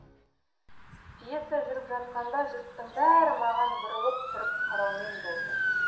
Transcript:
пьеса жүріп жатқанда жұрттың бәрі маған бұрылып тұрып қараумен болды